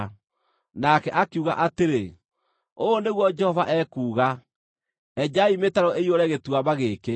nake akiuga atĩrĩ, “Ũũ nĩguo Jehova ekuuga: Enjai mĩtaro ĩiyũre gĩtuamba gĩkĩ.